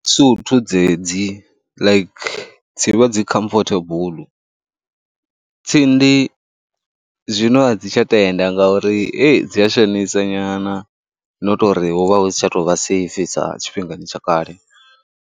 Duthu dzedzi like dzi vha dzi comfortable, tsindi zwino a dzi tsha tenda ngauri dzi a shonisa nyana no tou ri hu vha hu si tsha tou vha safe sa tshifhingani tsha kale.